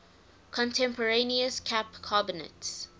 contemporaneous cap carbonates